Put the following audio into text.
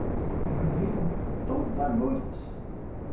Ele vai vê-la toda noite.